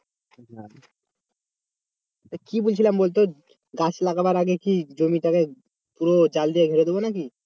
কি বলছিলাম বলতে গাছ লাগাবার আগে কি জমিটা কে পুরো জাল দিয়ে ঘিরে দেব নাকি?